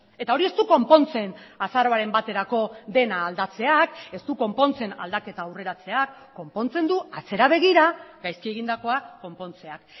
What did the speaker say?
eta hori ez du konpontzen azaroaren baterako dena aldatzeak ez du konpontzen aldaketa aurreratzeak konpontzen du atzera begira gaizki egindakoa konpontzeak